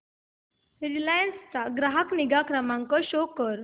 Reliance चा ग्राहक निगा क्रमांक शो कर